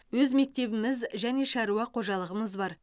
өз мектебіміз және шаруа қожалығымыз бар